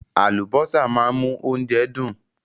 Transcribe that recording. Àlùbọ́sà máa ń mú oúnjẹ dùn.